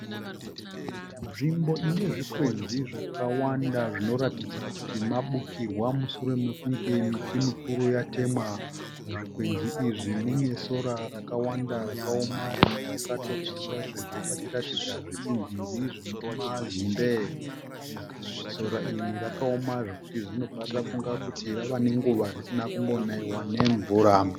Nzvimbo ine zvikwenzi zvakawanda, zvinoratidza kuti mabukirwa mushure mekunge miti mikuru yatemwa. muzvikwenzi izvi mune sora rakawanda rakaoma rimwe rakatopiswa sezvo pachiratidza zvitsinzinzi zvine mazimbe. Sora iri rakaoma zvekuti tinobva tafunga kuti rava nenguva risina kumbonaiwa nemvura.